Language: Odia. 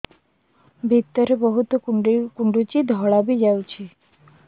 ଭିତରେ ବହୁତ କୁଣ୍ଡୁଚି ଧଳା ବି ଯାଉଛି